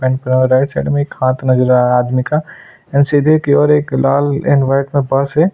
And right side में एक हाथ नज़र आ रहा है आदमी का एंड सीधे की ओर एक लाल एंड वाइट में बस है।